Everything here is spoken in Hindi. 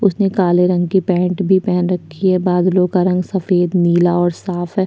उसने काले रंग की पैंट भी पहन रखी हैं बादलों का रंग सफेद नीला और साफ है।